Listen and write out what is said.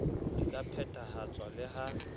di ka phethahatswa le ha